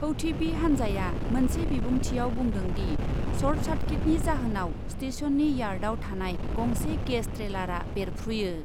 हौथीबि हान्जाया मोनसे बिबुंथियाव बुंदों दि, शर्ट सार्किटनि जाहोनाव स्टेशननि यार्डआव थानाय गंसे गेस ट्रेलारा बेरफ्रुयो।